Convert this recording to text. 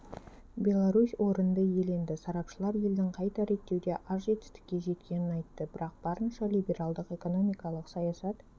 беларусь орынды иеленді сарапшылар елдің қайта реттеуде аз жетістікке жеткенін айтты бірақ барынша либералдық экономикалық саясат